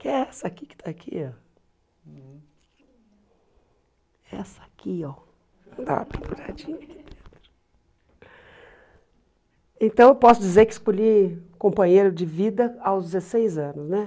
Que é essa aqui que está aqui, ó. Essa aqui, ó, da para parar de. Então, eu posso dizer que escolhi companheiro de vida aos dezesseis anos, né?